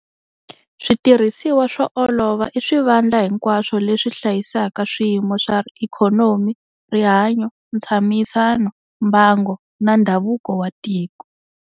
Switirhisiwa swo olova i swivandla hinkwaswo leswi hlayisaka swiyimo swa ikhonomi, rihanyo, ntshamisano, mbango, na ndhavuko wa tiko.